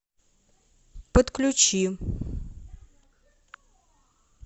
подключи